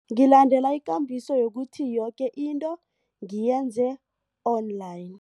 Ngilandela ikambiso yokuthi yoke into ngiyenze online.